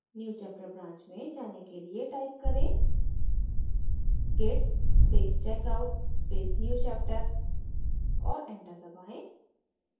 newchapter branch में जाने के लिए type करें git space checkout space newchapter और enter दबाएँ